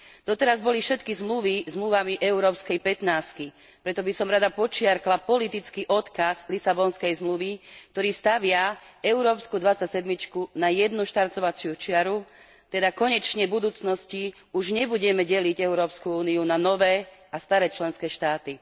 Doteraz boli všetky zmluvy zmluvami európskej pätnástky, preto by som rada podčiarkla politický odkaz Lisabonskej zmluvy, ktorý stavia európsku dvadsať sedmičku na jednu štartovaciu čiaru, teda konečne v budúcnosti už nebudeme deliť Európsku úniu na nové a staré členské štáty.